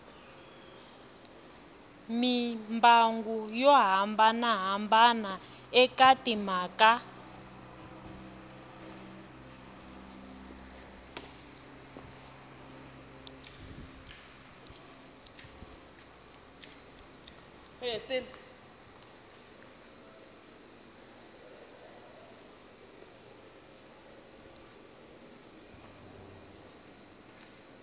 mimbangu yo hambanahambana eka timhaka